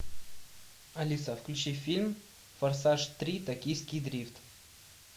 алиса включи фильм форсаж три токийский дрифт